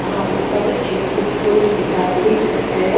हां बहोत अच्छी खूबसूरती है आप देख सकते हैं।